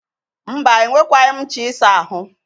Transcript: Mba, enwekwaghi m ncha isa ahụ.